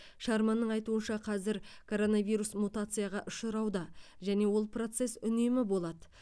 шарманның айтуынша қазір коронавирус мутацияға ұшырауда және ол процесс үнемі болады